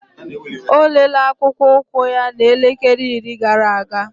Olele akpụkpọ ụkwụ na elekele iri gara aga.